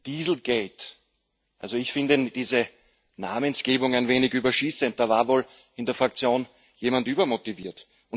Dieselgate also ich finde diese Namensgebung ein wenig überschießend, da war wohl in der Fraktion jemand übermotiviert.